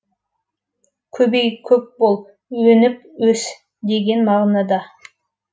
көбеи көп бол өніп өс деген мағынада